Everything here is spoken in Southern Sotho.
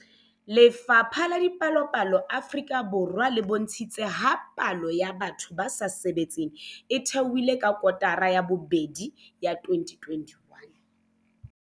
Lefapha la Dipalopalo Afrika Borwa le bontshitse ha palo ya batho ba sa sebetseng e theohile ka kotara ya bobedi ya 2021.